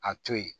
A to yen